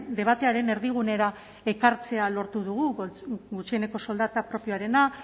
debatearen erdigunera ekartzea lortu dugu gutxieneko soldata propioarena